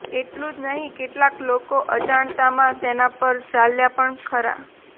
આટલું જ નહીં કેટલાક લોકો અજાણતામાં તેના પર ચાલ્યા પણ ખરા